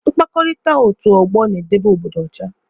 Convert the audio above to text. Mkpakọrịta otu ọgbọ na-edebe obodo ọcha.